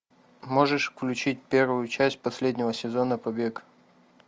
можешь включить первую часть последнего сезона побег